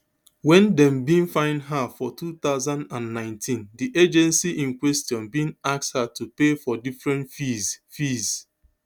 wen dem bin find her for two thousand and nineteen di agency in question bin ask her to pay for different fees fees